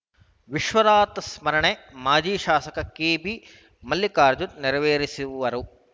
ವಿಶ್ವನಾಥ್‌ ಸಂಸ್ಮರಣೆ ಮಾಜಿ ಶಾಸಕ ಕೆಬಿ ಮಲ್ಲಿಕಾರ್ಜುನ್‌ ನೆರವೇರಿಸುವರು